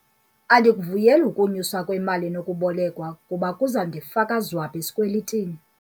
Andikuvuyeli ukunyuswa kwemali enokubolekwa kuba kuza kundifaka zwabha esikwelitini.